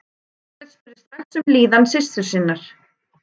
Marteinn spurði strax um líðan systur sinnar.